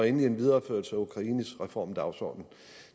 en videreførelse af ukraines reformdagsorden